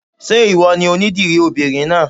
Ṣé ìwọ ni onídìrí obìnrin náà?